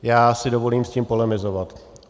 Já si dovolím s tím polemizovat.